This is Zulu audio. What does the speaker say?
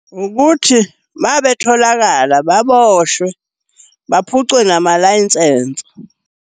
Ukuthi, uma betholakala baboshwe, baphucwe namalayinsense.